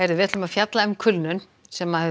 við ætlum að fjalla um kulnun sem hefur